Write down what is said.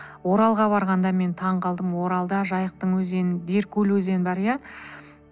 оралға барғанда мен таң қалдым оралда жайықтың өзендер көл өзен бар иә